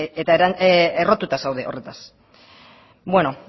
eta errotuta zaude horretaz bueno